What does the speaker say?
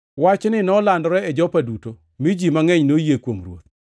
Wachni nolandore e Jopa duto, mi ji mangʼeny noyie kuom Ruoth.